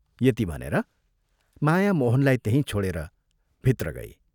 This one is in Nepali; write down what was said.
यति भनेर माया मोहनलाई त्यहीं छोडेर भित्र गई।